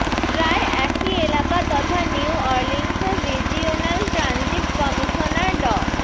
প্রায় একই এলাকা তথা নিউঅর্লিন্সের রিজিওনাল ট্র্যাঞ্জিট কমিশনার ড